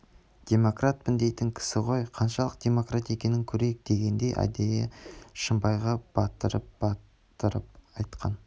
демократпын дейтін кісі ғой қаншалық демократ екенін көрейік дегендей әдейі шымбайға батырып-батырып айтқан